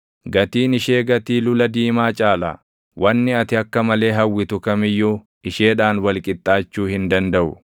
Gatiin ishee gatii lula diimaa caala; wanni ati akka malee hawwitu kam iyyuu isheedhaan wal qixxaachuu hin dandaʼu.